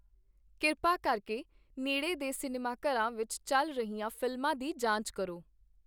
ਕਿਰਪਾ ਕਰਕੇ ਨੇੜੇ ਦੇ ਸਿਨੇਮਾਘਰਾਂ ਵਿੱਚ ਚੱਲ ਰਹੀਆਂ ਫ਼ਿਲਮਾਂ ਦੀ ਜਾਂਚ ਕਰੋ